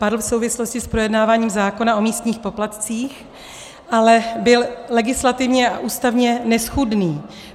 Padl v souvislosti s projednáváním zákona o místních poplatcích, ale byl legislativně a ústavně neschůdný.